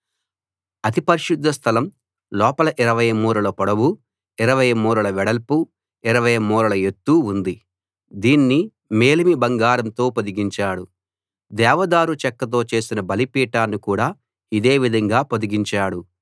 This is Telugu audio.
అతి పరిశుద్ధ స్థలం లోపల 20 మూరల పొడవు 20 మూరల వెడల్పు 20 మూరల ఎత్తు ఉంది దీన్ని మేలిమి బంగారంతో పొదిగించాడు దేవదారు చెక్కతో చేసిన బలిపీఠాన్ని కూడా ఇదే విధంగా పొదిగించాడు